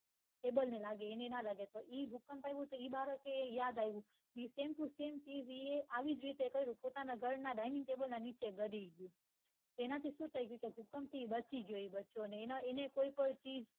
table ને લાગે તો એને ન લાગે તો એ ભૂકંપ આવ્યું તો એ બાળક ને યાદ આયું same to same ચીજ એ આવી જ રીતે કર્યું પોતાના ઘર ના dining table ની નીચે ગડી ગયું તેનાથી શું થઈ ગયું છે ભૂકંપ થી બચી ગયી બચ્ચો ને એ ને કોઈ કોઈ થી